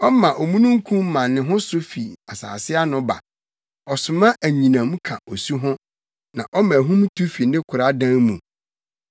Ɔma omununkum ma ne ho so fi asase ano ba; ɔsoma anyinam ka osu ho na ɔma ahum tu fi ne koradan mu.